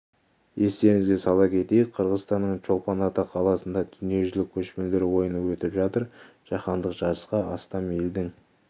естеріңізге сала кетейік қырғызстанның чолпан ата қаласында дүниежүзілік көшпенділер ойыны өтіп жатыр жаһандық жарысқа астам елдің